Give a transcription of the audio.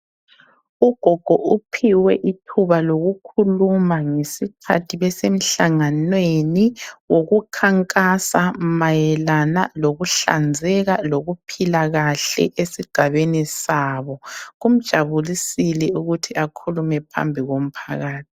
Ugogo uphiwe ithuba lokukhuluma ngesikhathi besemhlanganweni wokukhankasa mayelanga lokuhlanzeka kokuphila kahle esigabeni sabo. Kumjabulisile ukuthi akhulume phambi komphakathi.